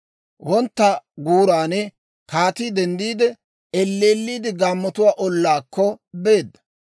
Wontta guuran kaatii denddiide, elleelliide gaammotuwaa ollaakko beedda.